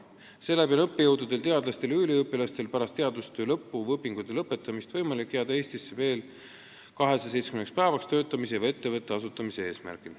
Tänu sellele on õppejõududel, teadlastel ja üliõpilastel pärast teadustöö lõppu või õpingute lõpetamist võimalik jääda Eestisse veel 270 päevaks, et tööd teha või ettevõte asutada.